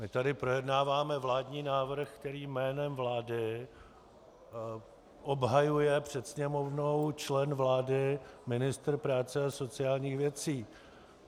My tady projednáváme vládní návrh, který jménem vlády obhajuje před Sněmovnou člen vlády, ministr práce a sociálních věcí.